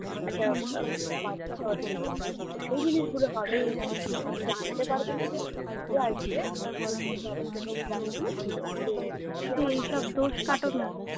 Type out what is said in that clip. একটা বাচ্চা হওয়ার জন্য তো সেই জিনিস সেগুলো হবে infact উনি জানতে পারবে না যে যে আসবে আমার সাথে সহবাস করতে সে জানবে না যে